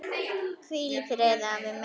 Hvíl í friði, afi minn.